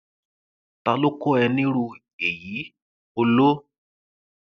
ta ló kọ ẹ nírú èyí olóh